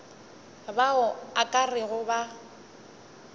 bao o ka rego ba